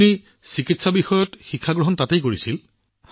প্ৰধানমন্ত্ৰীঃ আপোনাৰ চিকিৎসা শিক্ষা তাত হৈছিল